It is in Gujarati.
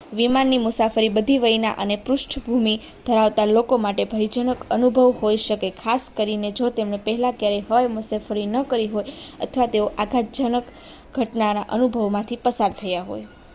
વિમાનની મુસાફરી બધી વયના અને પૃષ્ઠભૂમિ ધરાવતા લોકો માટે ભયજનક અનુભવ હોઈ શકે છે ખાસ કરીને જો તેમણે પહેલાં ક્યારેય હવાઈ મુસાફરી કરી ન હોય અથવા તેઓ આઘાતજનક ઘટનાના અનુભવમાંથી પસાર થયાં હોય